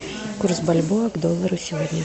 курс бальбоа к доллару сегодня